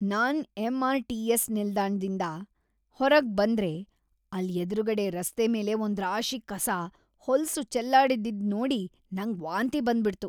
ನಾನ್ MRTS. ನಿಲ್ದಾಣ್ದಿಂದ ಹೊರಗ್‌ ಬಂದ್ರೆ ಅಲ್ಲ್‌ ಎದ್ರುಗಡೆ ರಸ್ತೆ ಮೇಲೆ ಒಂದ್ರಾಶಿ ಕಸ, ಹೊಲ್ಸು ಚೆಲ್ಲಾಡಿದ್ದಿದ್ ನೋಡಿ ನಂಗ್‌ ವಾಂತಿ ಬಂದ್ಬಿಡ್ತು.